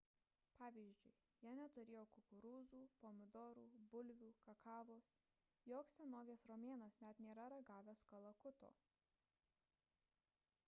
pavyzdžiui jie neturėjo kukurūzų pomidorų bulvių kakavos joks senovės romėnas net nėra ragavęs kalakuto